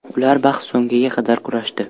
Ular bahs so‘ngiga qadar kurashdi.